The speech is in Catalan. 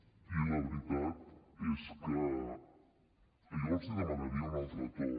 i la veritat és que jo els demanaria un altre to